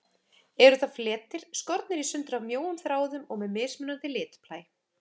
Eru það fletir, skornir í sundur af mjóum þráðum og með mismunandi litblæ.